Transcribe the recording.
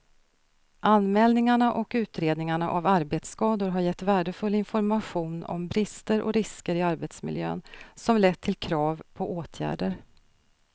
Anmälningarna och utredningarna av arbetsskador har gett värdefull information om brister och risker i arbetsmiljön som lett till krav på åtgärder.